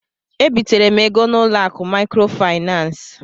E bitere m ego ahụ n'ụlọ akụ maịkrofaịnans.